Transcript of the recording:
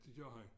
Det gør han